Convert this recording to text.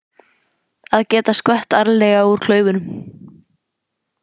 Að geta skvett ærlega úr klaufunum!